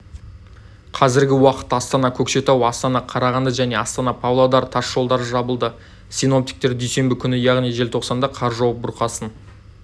қазіргі уақытта астана-көкшетау астана-қарағанды және астана-павлодар тасжолдары жабылды синоптиктер дүйсенбі күні яғни желтоқсанда қар жауып бұрқасын